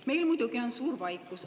Meil on muidugi suur vaikus.